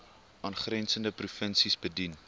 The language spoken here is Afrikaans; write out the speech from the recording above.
aangrensende provinsies bedien